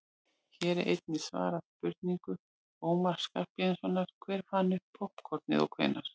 hér er einnig svarað spurningu ómars skarphéðinssonar „hver fann upp poppkornið og hvenær“